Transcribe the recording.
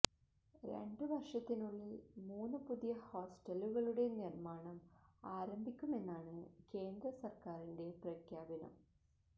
രണ്ട് വര്ഷത്തിനുള്ളില് മൂന്ന് പുതിയ ഹോസ്റ്റലുകളുടെ നിര്മ്മാണം ആരംഭിക്കുമെന്നാണ് കേന്ദ്ര സര്ക്കാരിന്റെ പ്രഖ്യാപനം